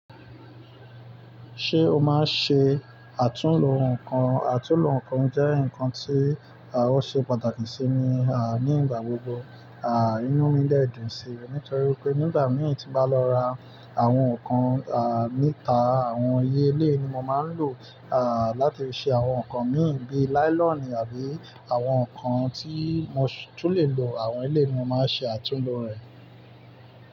Ṣé o máa ń ṣe àtúnlo nǹkan? Àtúnlo nǹkan jẹ́ nǹkan tí àh, ò ṣe pàtàkì sí mi à nígbà gbogbo. À inú mi dẹ́ẹ̀ dun ṣi nitorí pé nígbàmí tí n bá lọ ra àwọn nǹkan à mítà, àwọn iye ilé ni mo máa ń lò à láti fi ṣe àwọn nǹkan mi bí i láílọ̀nì àbí àwọn nǹkan tí mo tún lè lo àwọn ilé ni mo máa ń ṣe àtúnlo rẹ̀.